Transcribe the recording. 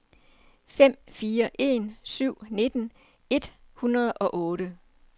fem fire en syv nitten et hundrede og otte